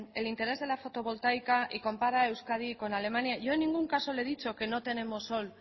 el interés de la fotovoltaica y compara a euskadi con alemania yo en ningún caso le he dicho que no tenemos sol